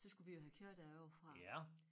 Så skulle vi jo have køer derovrefra